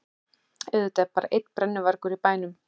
Auðvitað er bara einn brennuvargur í bænum!